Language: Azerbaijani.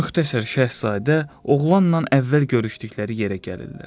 Müxtəsər Şahzadə oğlanla əvvəl görüşdükləri yerə gəlirlər.